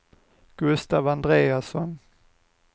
Gustav Andreasson